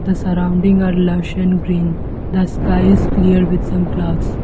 The surrounding are lush and green the sky is clear with some clouds.